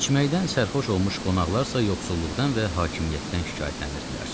İçməkdən sərxoş olmuş qonaqlar yoxsulluqdan və hakimiyyətdən şikayətlənirdilər.